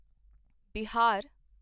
Bihar